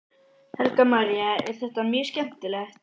Helga María: Er þetta mjög skemmtileg?